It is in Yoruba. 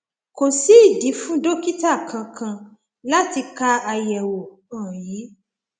kò sí ìdí fún dókítà kankan láti ka àyẹwò um yìí